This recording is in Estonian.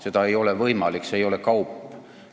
Seda ei ole võimalik teha, see ei ole kaup.